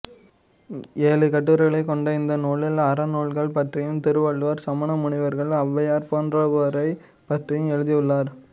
ஏழு கட்டுரைகளைக் கொண்ட இந்த நூலில் அறநூல்கள் பற்றியும் திருவள்ளுவர் சமண முனிவர்கள் ஔவையார் போன்றோரைப் பற்றியும் எழுதியுள்ளார்